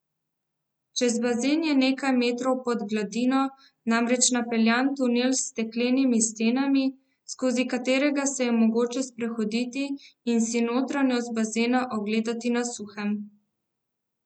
Čez bazen je nekaj metrov pod gladino namreč napeljan tunel s steklenimi stenami, skozi katerega se je mogoče sprehoditi in si notranjost bazena ogledati na suhem.